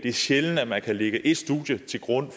er sjældent at man kan lægge et studie til grund